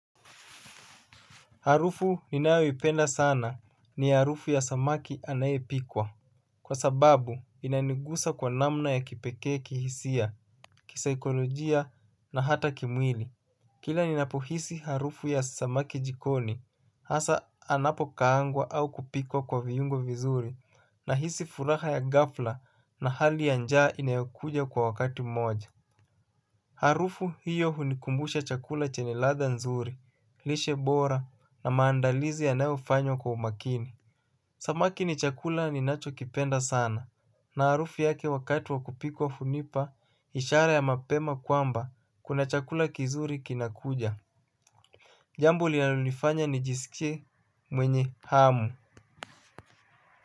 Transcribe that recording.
Harufu ninayoipenda sana ni harufu ya samaki anayepikwa. Kwa sababu inanigusa kwa namna ya kipekee kihisia, kisaikolojia na hata kimwili. Kila ninapohisi harufu ya samaki jikoni hasa anapokaangwa au kupikwa kwa viungo vizuri nahisi furaha ya ghafla na hali ya njaa inayokuja kwa wakati moja. Harufu hiyo hunikumbusha chakula chenye ladha nzuri, lishe bora na maandalizi yanayofanywa kwa umakini. Samaki ni chakula ninachokipenda sana na harufu yake wakati wa kupikwa hunipa ishara ya mapema kwamba kuna chakula kizuri kinakuja. Jambo linalonifanya nijisikie mwenye hamu.